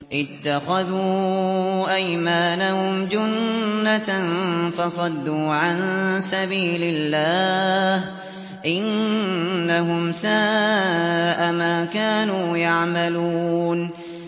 اتَّخَذُوا أَيْمَانَهُمْ جُنَّةً فَصَدُّوا عَن سَبِيلِ اللَّهِ ۚ إِنَّهُمْ سَاءَ مَا كَانُوا يَعْمَلُونَ